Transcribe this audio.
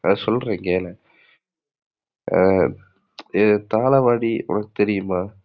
நான் சொல்றேன் கேளு. ஆஹ் தாழவாடி உனக்கு தெரியுமா?